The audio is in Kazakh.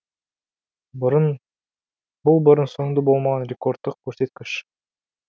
бұл бұрын соңды болмаған рекордтық көрсеткіш